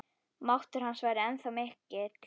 Máttur hans væri ennþá mikill.